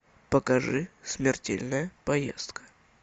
покажи смертельная поездка